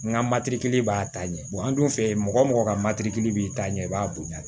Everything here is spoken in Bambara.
N ka b'a ta ɲɛ an dun fɛ yen mɔgɔ mɔgɔ ka b'i ta ɲɛ i b'a bonya